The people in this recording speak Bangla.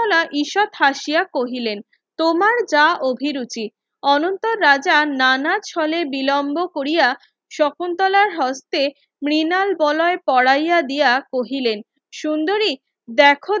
ঈষৎ হাসিয়া কহিলেন তোমার যা অভিরুচি অনন্তর রাজা নানা চলে বিলম্ভ কোরিয়া শকুন্তলার হস্তে মৃনাল বলয় পোড়াইয়া দিয়া কহিলেন সুন্দরী দেখো